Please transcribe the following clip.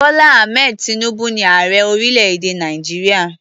Bọ́lá Ahmed tinubu ni ààrẹ orílẹ̀-èdè Nàìjíríà.